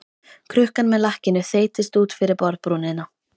Krukkan með lakkinu þeytist út fyrir borðbrúnina.